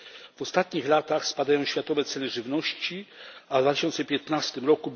W ostatnich latach spadają światowe ceny żywności, a w 2015 r.